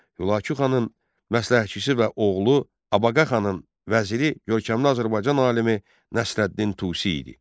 Hülaku xanın məsləhətçisi və oğlu Abaqa xanın vəziri görkəmli Azərbaycan alimi Nəsrəddin Tusi idi.